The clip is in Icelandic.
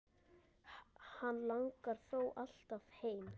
Hann langar þó alltaf heim.